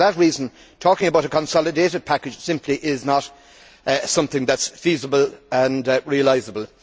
For that reason, talking about a consolidated package simply is not something that is feasible and realisable.